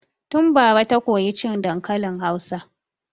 Tun bara ta koyi cin dankalin Hausa.